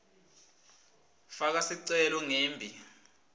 faka sicelo ngembi